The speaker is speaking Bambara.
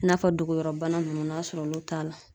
I n'a fɔ dogoyɔrɔbana ninnu, n'a o y'a sɔrɔ olu t'a la.